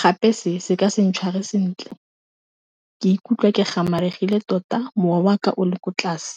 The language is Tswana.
gape se se ka se ntshware sentle kw ikutlwa ke gamaregile tota mowa wa ka o le ko tlase.